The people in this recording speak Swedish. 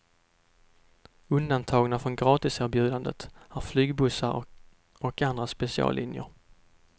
Undantagna från gratiserbjudandet är flygbussarna och andra speciallinjer.